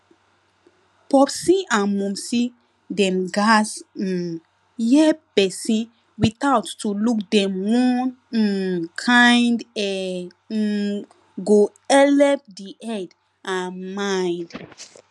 popsi and momsi dem gats um hear pesin without to look dem one um kind um um go helep the head and mind